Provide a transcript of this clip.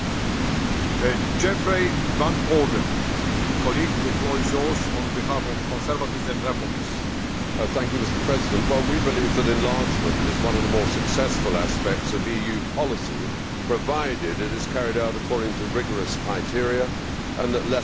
Mr President, we believe that enlargement is one of the more successful aspects of EU policy, provided it is carried out according to rigorous criteria and that lessons are learned from previous accessions.